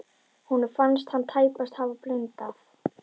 Honum fannst hann tæpast hafa blundað.